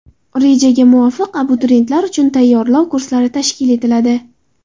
Rejaga muvofiq, abituriyentlar uchun tayyorlov kurslari tashkil etiladi.